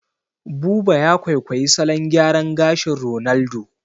Buba ya kwaikwayi salon gyaran gashin Ronaldo